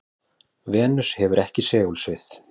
venus hefur ekki segulsvið